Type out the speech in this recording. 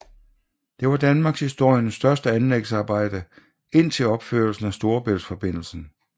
Det var Danmarkshistoriens største anlægsarbejde indtil opførelsen af Storebæltsforbindelsen